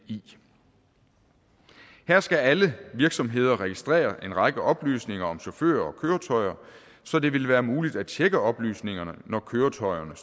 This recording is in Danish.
imi her skal alle virksomheder registrere en række oplysninger om chauffører og køretøjer så det vil være muligt at tjekke oplysningerne når køretøjerne